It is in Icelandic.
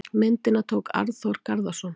Myndina tók Arnþór Garðarsson.